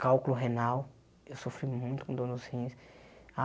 cálculo renal, eu sofri muito com dor nos rins.